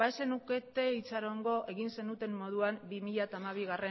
ez zenukete itxarongo egin zenuten moduan bi mila hamabigarrena